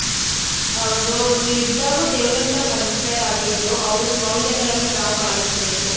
ಹೌದು ಅವ್ರು ಇದ್ದಾಗೂ ದೇವ್ರಂತ ಮನುಷ್ಯ ಆಗಿದ್ರೂ ಅವರ ಮೌಲ್ಯಗಳನ್ನ ನಾವು ಪಾಲಿಸಬೇಕು.